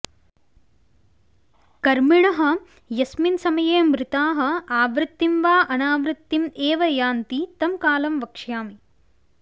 कर्मिणः यस्मिन् समये मृताः आवृत्तिं वा अनावृत्तिम् एव यान्ति तं कालं वक्ष्यामि